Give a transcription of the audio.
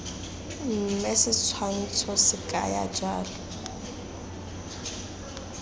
mme setshwantsho se kaya jalo